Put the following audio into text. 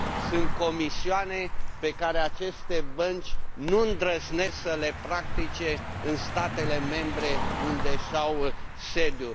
Sunt comisioane pe care aceste bănci nu îndrăznesc să le practice în statele membre unde își au sediul.